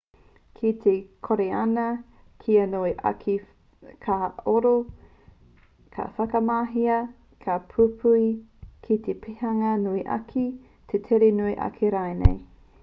ki te kōriana kia nui ake te kahaoro ka whakamahia ngā pupuhi ki te pēhanga nui ake te tere nui ake rānei